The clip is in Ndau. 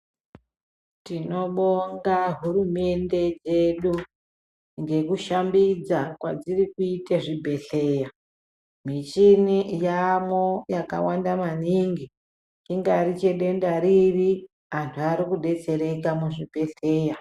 Tinobonga hurumende dzedu ngekushambidza kwedziri kuita zvibhedhleya, michini yaamwo yakawanda maningi ingari chedenda riri, antu arikudetsereka muzvibhedhleya.